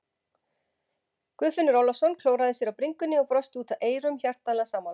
Guðfinnur Ólafsson klóraði sér á bringunni og brosti út að eyrum, hjartanlega sammála.